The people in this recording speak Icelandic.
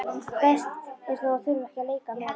Best er þó að þurfa ekki að leika meira.